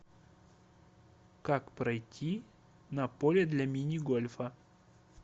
как пройти на поле для мини гольфа